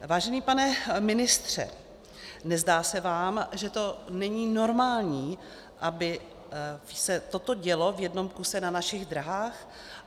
Vážený pane ministře, nezdá se vám, že to není normální, aby se toto dělo v jednom kuse na našich dráhách?